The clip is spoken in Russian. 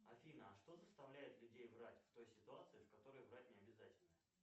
афина а что заставляет людей врать в той ситуации в которой врать необязательно